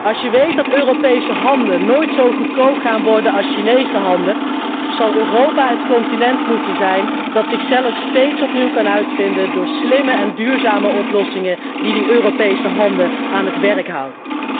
Als je weet dat Europese handen nooit zo goedkoop gaan worden als Chinese handen, zal Europa het continent moeten zijn dat zichzelf steeds opnieuw uitvindt door slimme en duurzame oplossingen die die Europese handen aan het werk houden.